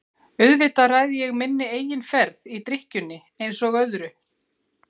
Auðvitað ræð ég minni eigin ferð í drykkjunni einsog öðru.